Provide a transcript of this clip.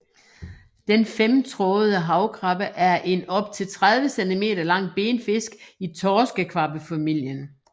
Den femtrådede havkvabbe er en op til 30 centimeter lang benfisk i torskekvabbefamilien